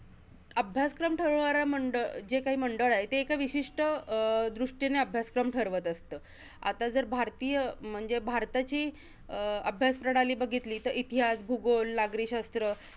अभ्यासक्रम ठरवणाऱ्या मंड~ जे काही मंडळ आहे, ते एका विशिष्ट अं दृष्टीने अभ्यासक्रम ठरवत असतं. आता जर भारतीय, म्हणजे भारताची अं अभ्यास प्रणाली बघितली, तर इतिहास, भूगोल, नागरिकशास्त्र